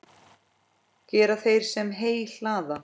Gera þeir, sem heyi hlaða.